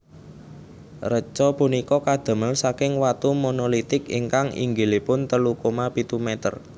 Reca punika kadamel saking watu monolitik ingkang inggilipun telu koma pitu meter